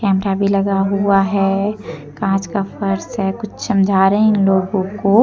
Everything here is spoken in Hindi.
कैमरा भी लगा हुआ है कांच का फर्श है कुछ समझा रहे हैं इन लोगों को।